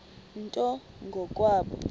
nto ngo kwabo